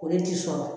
O de ti sɔrɔ